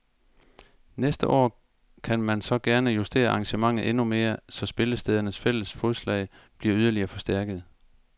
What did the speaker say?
Næste år kan man så gerne justere arrangementet endnu mere, så spillestedernes fælles fodslag bliver yderligere forstærket.